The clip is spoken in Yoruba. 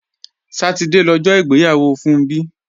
Sátidé lọjọ́ ìgbéyàwó Funbí